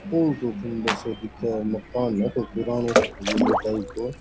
दूर सु सुन्दर साे दिखे मकान है कोई पुरानो हवेली टाइप को।